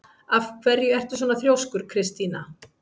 Af hverju ertu svona þrjóskur, Kristína?